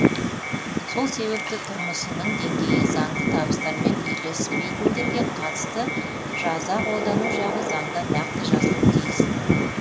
сол себепті тұрмысының деңгейі заңды табыстарымен үйлеспейтіндерге қатысты жаза қолдану жағы заңда нақты жазылуы тиіс